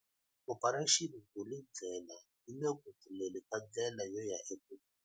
Operation Vulindlela yi le ku pfuleni ka ndlela yo ya ekukuleni.